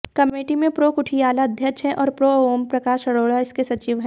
committee में prof Kuthiala अध्यक्ष हैं और प्रो़ ओमप्रकाश अरोड़ा इसके सचिव हैं